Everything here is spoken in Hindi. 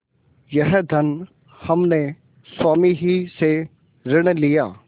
यह धन हमने स्वामी ही से ऋण लिया